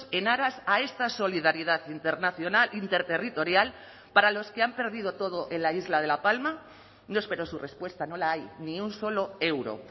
en aras a esta solidaridad internacional interterritorial para los que han perdido todo en la isla de la palma no espero su respuesta no la hay ni un solo euro